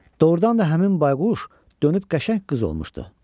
Doğrudan da həmin bayquş dönüb qəşəng qız olmuşdu.